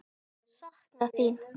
Sakna þín.